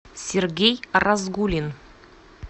сергей разгулин